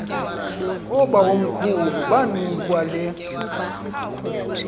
oobawomkhulu banikwa le